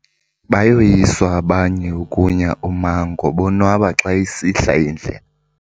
Bayoyiswa abanye ukunya ummango bonwaba xa isihla indlela.